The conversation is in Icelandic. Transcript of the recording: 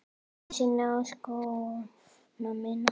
Einu sinni á skóna mína.